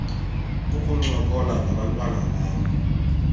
ukuncokola nabantwana bam